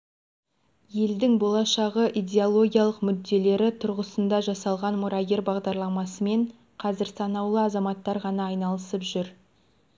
елдің болашақтағы идеологиялық мүдделері тұрғысында жасалған мұрагер бағдарламасымен қазір санаулы азаматтар ғана айналысып жүр